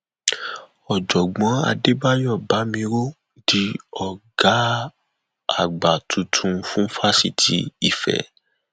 ọjọgbọn adébáyò bámíró di ọgá àgbà tuntun fún fásitì ife